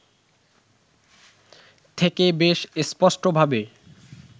থেকে বেশ স্পষ্টভাবে